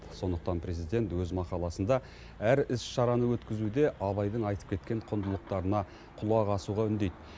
сондықтан президент өз мақаласында әр іс шараны өткізуде абайдың айтып кеткен құндылықтарына құлақ асуға үндейді